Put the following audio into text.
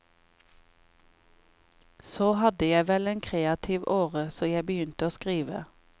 Så hadde jeg vel en kreativ åre, så jeg begynte å skrive.